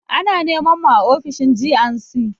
Ana neman mu a ofishin G&C.